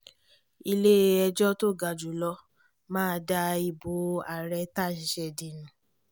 ilé-ẹjọ́ tó ga jù lọ máa da ìbò ààrẹ táá ṣẹ̀ṣẹ̀ dì nù